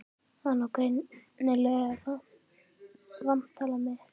Hann á greinilega eitthvað vantalað við mig.